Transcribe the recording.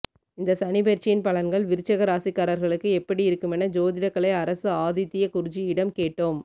இந்த சனிப்பெயர்ச்சியின் பலன்கள் விருச்சிக ராசிக்காரர்களுக்கு எப்படி இருக்குமென ஜோதிடக்கலை அரசு ஆதித்ய குருஜியிடம் கேட்டோம்